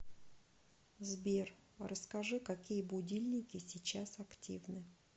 сбер расскажи какие будильники сейчас активны